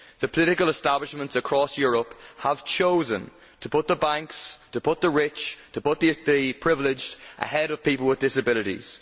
The political establishments across Europe have chosen to put the banks, to put the rich, to put the privileged ahead of people with disabilities.